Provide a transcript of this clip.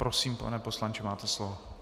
Prosím, pane poslanče, máte slovo.